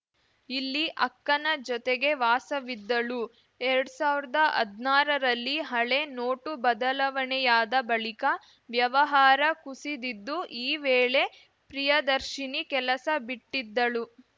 ಇಲ್ಲಿ ಅಕ್ಕನ ಜೊತೆಗೆ ವಾಸವಿದ್ದಳು ಎರಡ್ ಸಾವಿರ್ದಾ ಹದ್ನಾರರಲ್ಲಿ ಹಳೇ ನೋಟು ಬದಲಾವಣೆಯಾದ ಬಳಿಕ ವ್ಯವಹಾರ ಕುಸಿದಿದ್ದು ಈ ವೇಳೆ ಪ್ರಿಯದರ್ಶಿನಿ ಕೆಲಸ ಬಿಟ್ಟಿದ್ದಳು